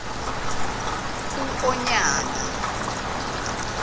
uonyana